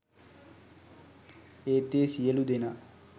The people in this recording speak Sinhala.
ඒත් ඒ සියලූ දෙනා